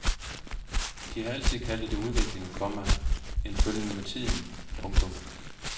De har altid kaldt det udvikling, komma en følgen med tiden. punktum